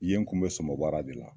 I ye, n kun be sɔmɔ bara de la.